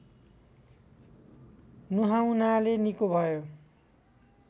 नुहाउनाले निको भयो